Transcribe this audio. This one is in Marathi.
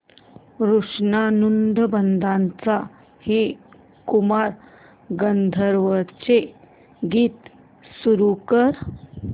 ऋणानुबंधाच्या हे कुमार गंधर्वांचे गीत सुरू कर